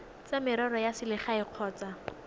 tsa merero ya selegae kgotsa